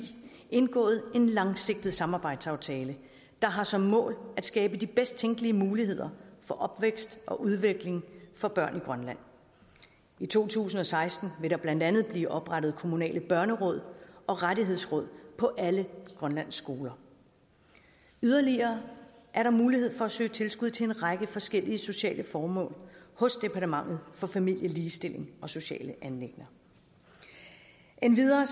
indgået en langsigtet samarbejdsaftale der har som mål at skabe de bedst tænkelige muligheder for opvækst og udvikling for børn i grønland i to tusind og seksten vil der blandt andet blive oprettet kommunale børneråd og rettighedsråd på alle grønlands skoler yderligere er der mulighed for at søge tilskud til en række forskellige sociale formål hos departementet for familie ligestilling og sociale anliggender endvidere